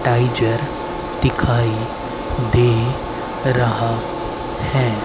Taisor दिखाई दे रहा है।